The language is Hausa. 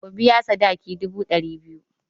Ku biya sadakin dubu ɗari biyu!